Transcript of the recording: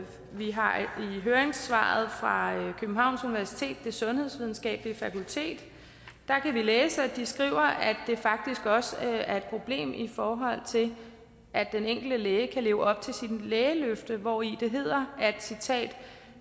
vi har i høringssvaret fra københavns universitets sundhedsvidenskabelige fakultet kunnet læse at de skriver at det faktisk også er et problem i forhold til at den enkelte læge kan leve op til sit lægeløfte hvori